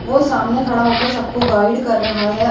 वो सामने खड़ा होकर सबको गाइड कर रहा है।